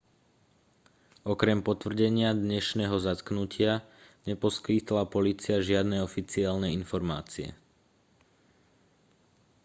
okrem potvrdenia dnešného zatknutia neposkytla polícia žiadne oficiálne informácie